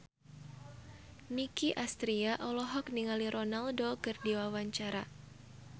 Nicky Astria olohok ningali Ronaldo keur diwawancara